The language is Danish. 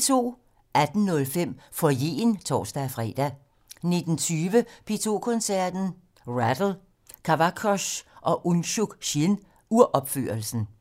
18:05: Foyeren (tor-fre) 19:20: P2 Koncerten - Rattle, Kavakos og Unsuk Chin-uropførelsen